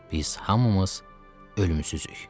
Biz hamımız ölümsüzük.